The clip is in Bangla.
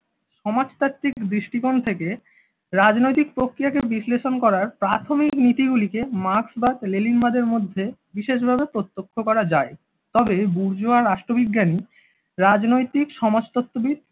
সমাজতাত্ত্বিক দৃষ্টিকোণ থেকে রাজনৈতিক প্রক্রিয়া কে বিশ্লেষণ করার প্রাথমিক নীতি গুলিকে মার্কসবাদ লেনিনবাদের মধ্যে বিশেষভাবে প্রত্যক্ষ করা যায়। তবে বুর্জোয়া রাষ্ট্রবিজ্ঞানী রাজনৈতিক সমাজতত্ত্ববিদ